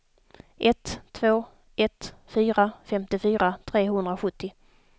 ett två ett fyra femtiofyra trehundrasjuttio